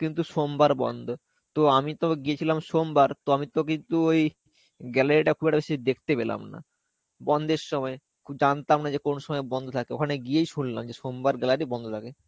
কিন্তু সোমবার বন্ধ. তো আমি তো গেয়েছিলাম সোমবার তো আমি তো কিন্তু ওই gallery টা খুব একটা বেশী দেখতে পেলামনা. বন্ধের সময়. জানতাম না কোন সময় বন্ধ থাকে. ওখানে গিয়েই শুনলাম যে সোমবার gallery বন্ধ থাকে.